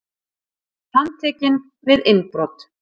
Handtekinn við innbrot